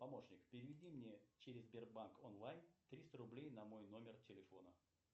помощник переведи мне через сбербанк онлайн триста рублей на мой номер телефона